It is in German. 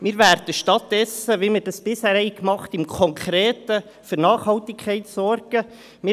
Wir werden stattdessen im Konkreten für Nachhaltigkeit sorgen, wie wir es bisher getan haben.